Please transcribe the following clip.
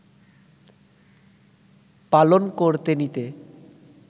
পালন করতে নিতে